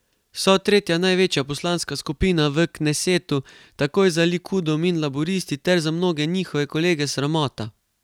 So tretja največja poslanska skupina v knesetu, takoj za Likudom in Laburisti, ter za mnoge njihove kolege sramota.